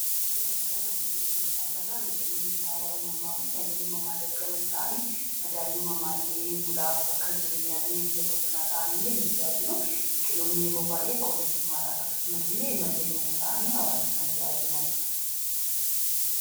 Suuraa kanarratti kanarratti biqiloota agarra. Biqiloonni faayaa uumamaa fi madaala uumammaallee eeguudhaaf bakka jireenyaa bineensota bosonaa ta'aniillee ni tajaajilu. Biqiloonni yeroo baay'ee qorichummaadhaaf ta'anii madda nyaataa ta'anii uummata kan tajaajilanidha.